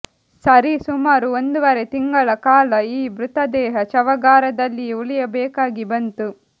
ಸರಿಸುಮಾರು ಒಂದೂವರೆ ತಿಂಗಳ ಕಾಲ ಈ ಮೃತದೇಹ ಶವಾಗಾರದಲ್ಲಿಯೇ ಉಳಿಯಬೇಕಾಗಿ ಬಂತು